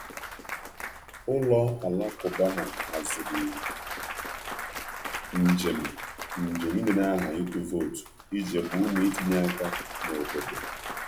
Ụlọ alakụba ha haziri njem ịdenye aha ịtụ vootu iji gbaa ume itinye um aka um n’obodo.